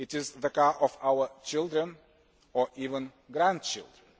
It is the cars of our children or even our grandchildren.